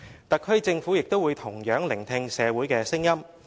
"特區政府也同樣會聆聽社會的聲音。